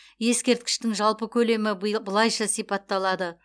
ескерткіштің жалпы көлемі былайша сипатталады